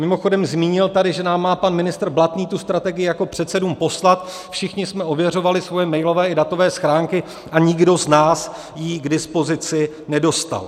Mimochodem zmínil tady, že nám má pan ministr Blatný tu strategii jako předsedům poslat, všichni jsme ověřovali svoje mailové i datové schránky a nikdo z nás ji k dispozici nedostal.